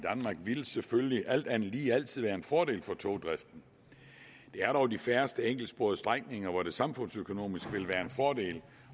ville selvfølgelig alt andet lige altid være en fordel for togdriften det er dog de færreste enkeltsporede strækninger hvor det samfundsøkonomisk ville være en fordel